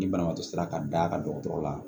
Ni banabaatɔ sera ka d'a kan dɔgɔtɔrɔ la